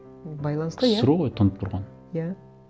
байланысты иә ксро ғой тұнып тұрған иә